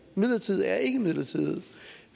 midlertidighed er ikke midlertidighed